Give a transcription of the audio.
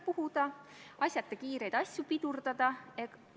Komisjon seda eelnõu konsensuslikult ka toetas.